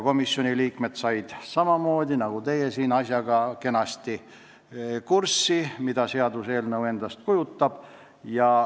Komisjoni liikmed said samamoodi nagu teie siin kenasti kurssi, mida seaduseelnõu endast kujutab.